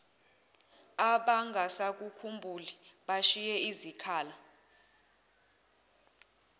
abangasakukhumbuli bashiye izikhala